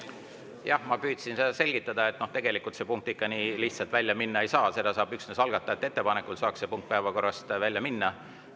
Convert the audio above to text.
Jah, ma püüdsin selgitada, et tegelikult see punkt ikka nii lihtsalt välja minna ei saa, üksnes algatajate ettepanekul saaks see punkt päevakorrast välja minna.